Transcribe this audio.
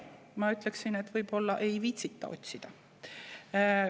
Ma ütleksin, et võib-olla ei viitsita otsida.